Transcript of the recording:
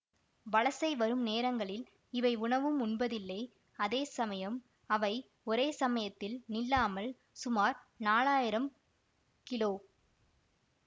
வலசை வரும் நேரங்களில் இவை உணவும் உண்பதில்லை அதே சமயம் அவை ஒரே சமயத்தில் நில்லாமல் சுமார் நாலாயிரம் கிலோ